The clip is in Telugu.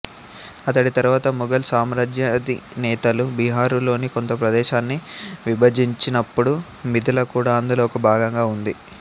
అతడి తరువాత ముగల్ సామ్రాజ్యాధినేతలు బీహారు లోని కొంత ప్రదేశాన్ని విభజించినప్పుడు మిధిల కూడా అందులో ఒక భాగంగా ఉంది